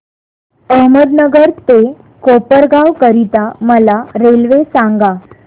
अहमदनगर ते कोपरगाव करीता मला रेल्वे सांगा